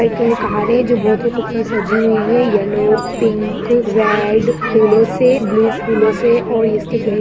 एक गाड़ी है जो बहुत ही खूबसूरत सजी हुई है येलो पिंक रेड फूलों से ब्लू फूलों से और इसके गेट --